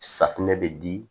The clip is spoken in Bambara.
Safinɛ bɛ di